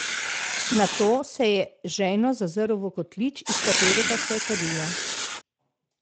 Nato se je žejno zazrl v kotlič, iz katerega se je kadilo.